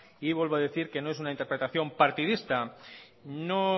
y vuelvo a decir que no es una interpretación partidista no